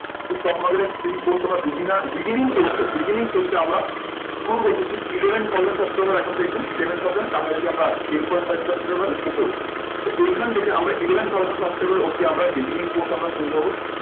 তো stock market এর free course টা আমরা beginner beginning course টা beginning phase টা আমরা শুরু করছি ঠিক eleven thousand subscriber এখন দেখবেন eleven thousand এর কাছাকাছি আমরা আছি ten point five subscriber উপর। তো এইখান থেকে আমরা eleven thousand অবধি আমরা beginning course আমরা শুরু করবো।